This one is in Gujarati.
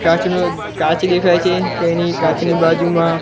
કાચનો કાચ દેખાય છે તેની કાચની બાજુમાં--